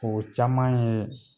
O caman ye